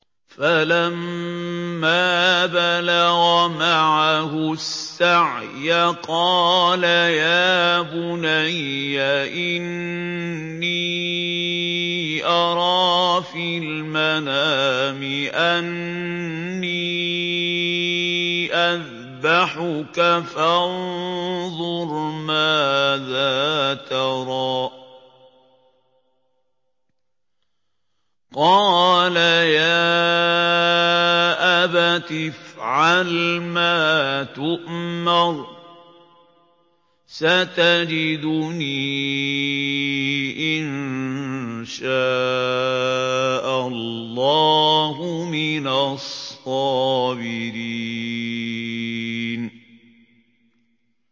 فَلَمَّا بَلَغَ مَعَهُ السَّعْيَ قَالَ يَا بُنَيَّ إِنِّي أَرَىٰ فِي الْمَنَامِ أَنِّي أَذْبَحُكَ فَانظُرْ مَاذَا تَرَىٰ ۚ قَالَ يَا أَبَتِ افْعَلْ مَا تُؤْمَرُ ۖ سَتَجِدُنِي إِن شَاءَ اللَّهُ مِنَ الصَّابِرِينَ